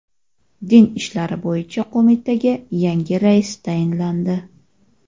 Din ishlari bo‘yicha qo‘mitaga yangi rais tayinlandi.